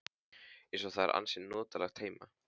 Eins og það er ansi notalegt heima.